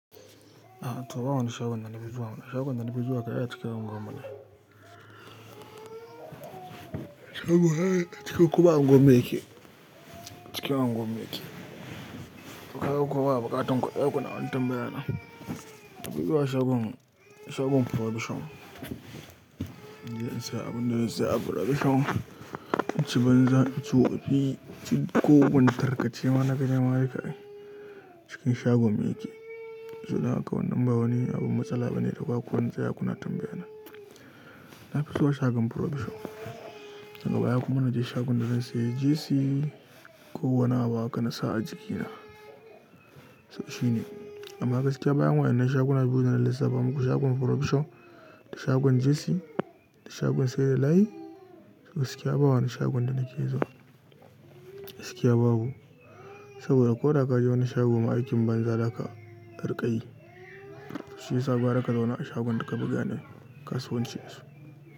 A'a to ba wani shagon na biyu ba, wani shagon na biyu haka ya cika unguwar mu ne. Shagon haka ya cika kuma unguwar mi yake, cika unguwar mi yake. Kuka kowa baƙa tanko ɗaya kuna tambayaya na. Ku bi zuwa shagon, shagon Provision. In je in saya abin da zan saya a Provision. In ci banza, in ci wofi, in ci ko wane tarkace ma na ga dama ni ka ɗai. Cikin shagon mu yake. Saboda haka wannan ba wani abin matsala ba ne da za ku wani tsaya kuna tambayana. Na fi zuwa shagon Provision. Daga baya kuma na je shagon da zan sayi jesi ko wani abu haka na sa a jikina. Saboda shi ne. Amma gaskiya bayan wa'innan shagon na biyu da na lissafa muku shagon Provision da shagon jesi da shagon sayar da layi. Gaskiya babu wani shagon da na ke zuwa. Gaskiya babu. Saboda ko da ka je wani shagon ma aikin banza da aka kar ka yi. Shi ya sa gwara ka zauna a shagon da ka fi gane kasuwancin da su.